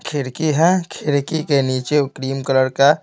खिड़की है खिड़की के नीचे व क्रीम कलर का--